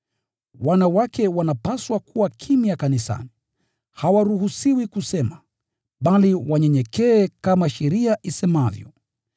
wanawake wanapaswa kuwa kimya kanisani. Hawaruhusiwi kusema, bali wanyenyekee kama sheria isemavyo.